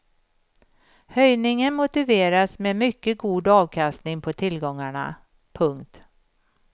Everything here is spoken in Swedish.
Höjningen motiveras med mycket god avkastning på tillgångarna. punkt